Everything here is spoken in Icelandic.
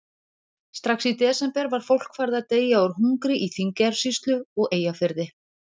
Strax í desember var fólk farið að deyja úr hungri í Þingeyjarsýslu og Eyjafirði.